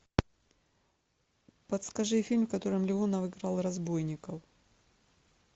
подскажи фильм в котором леонов играл разбойника